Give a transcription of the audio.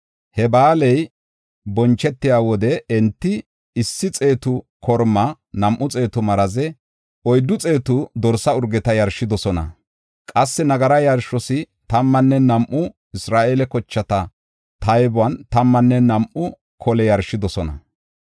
He ba7aaley bonchetiya wode enti issi xeetu korma, nam7u xeetu maraze, oyddu xeetu dorsa urgeta yarshidosona. Qassi nagara yarshos tammanne nam7u Isra7eele kochata taybon tammanne nam7u kole yarshidosona.